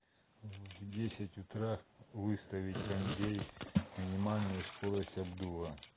в десять утра выставить кондей минимальную скорость обдува